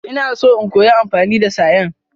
Ina so in koya amfani da sayen.